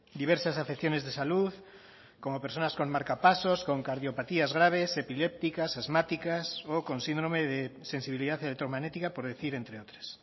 diversas afecciones de salud como personas con marcapasos con cardiopatías graves epilépticas asmáticas o con síndrome de sensibilidad electromagnética por decir entre otras